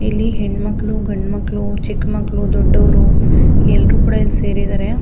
ಇಲ್ಲಿ ಹೆಣ್ಮಕ್ಳು ಗಂಡ್ ಮಕ್ಳು ಚಿಕ್ ಮಕ್ಳು ದೊಡ್ಡವರು ಎಲ್ಲ ಕೂಡ ಸೇರಿದ್ದಾರೆ.